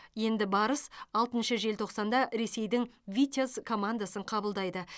енді барыс алтыншы желтоқсанда ресейдің витязь командасын қабылдайды